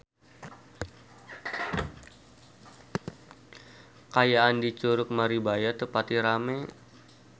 Kaayaan di Curug Maribaya teu pati rame